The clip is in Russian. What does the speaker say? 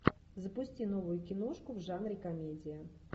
запусти новую киношку в жанре комедия